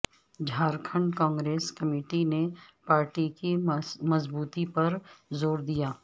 Jharkhand Congress committee نے party کی مضبوطی پرزور دیا